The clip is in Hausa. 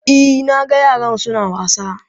E, na ga yaran su na wasa.